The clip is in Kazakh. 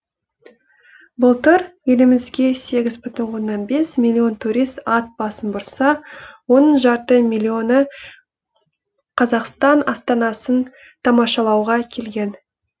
былтыр елімізге сегіз бүтін оннан бес миллион турист ат басын бұрса оның жарты миллионы қазақстан астанасын тамашалауға келген